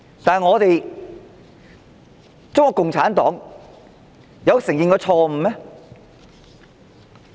然而，中國共產黨有承認過錯誤嗎？